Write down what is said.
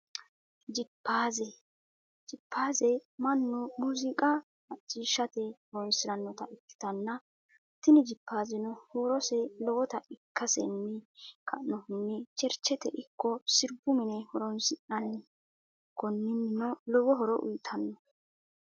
Jiphaazze, jiphaazze manu muuziiqqa machiishate horonsiranotta ikkitanna tini jiphazeno huurose lowotta ikkasenni ka'nohunni cherichete ikko siribu mine horonsinanni, koninnino lowo horo uuyitano